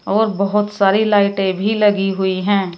और बहोत सारी लाइटें भी लगी हुई हैं।